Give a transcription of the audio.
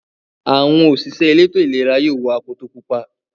Àwọn òṣìṣẹ́ elétò-ìlera yóò wọ akoto pupa.